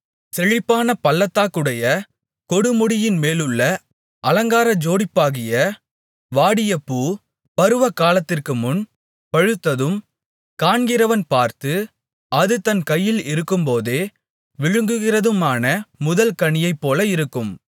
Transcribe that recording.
செழிப்பான பள்ளத்தாக்குடைய கொடுமுடியின்மேலுள்ள அலங்கார ஜோடிப்பாகிய வாடிய பூ பருவகாலத்திற்குமுன் பழுத்ததும் காண்கிறவன் பார்த்து அது தன் கையில் இருக்கும்போதே விழுங்குகிறதுமான முதல் கனியைப்போல இருக்கும்